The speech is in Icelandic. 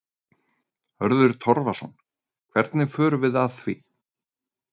Hörður Torfason: Hvernig förum við að því?